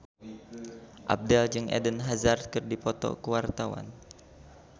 Abdel jeung Eden Hazard keur dipoto ku wartawan